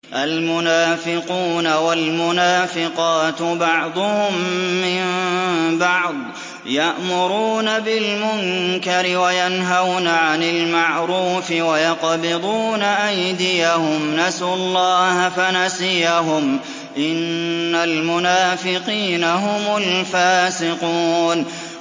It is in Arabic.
الْمُنَافِقُونَ وَالْمُنَافِقَاتُ بَعْضُهُم مِّن بَعْضٍ ۚ يَأْمُرُونَ بِالْمُنكَرِ وَيَنْهَوْنَ عَنِ الْمَعْرُوفِ وَيَقْبِضُونَ أَيْدِيَهُمْ ۚ نَسُوا اللَّهَ فَنَسِيَهُمْ ۗ إِنَّ الْمُنَافِقِينَ هُمُ الْفَاسِقُونَ